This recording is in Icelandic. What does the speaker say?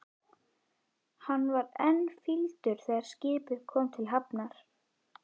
Hann var enn fýldur þegar skipið kom til hafnar.